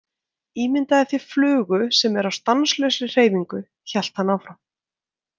Ímyndaðu þér flugu sem er á stanslausri hreyfingu, hélt hann áfram.